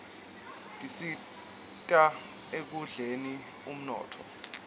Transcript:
tisita ekukhldeni uninotfo